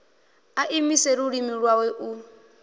a imise lulimi lwawe u